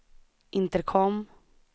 intercom